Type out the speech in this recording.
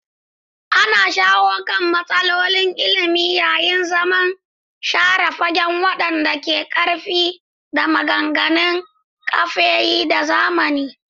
Ana shawo kan matsalolin ilimi yayin zaman share fage wanda ke da ƙarfi ta maganin kafeyin da azama.